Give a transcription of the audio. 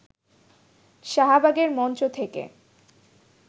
শাহবাগের মঞ্চ থেকে